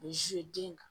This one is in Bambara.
U bɛ den kan